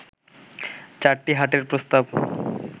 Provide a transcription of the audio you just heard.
চারটি হাটের প্রস্তাব